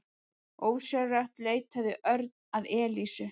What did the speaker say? Ósjálfrátt leitaði Örn að Elísu.